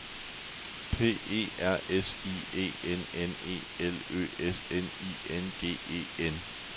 P E R S I E N N E L Ø S N I N G E N